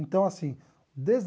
Então, assim, desde